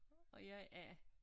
Og jeg er A